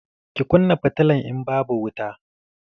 Ki kunna fitilan, in babu wuta!